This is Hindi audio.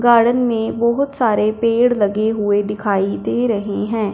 गार्डन में बहोत सारे पेड़ लगे हुए दिखाई दे रहे हैं।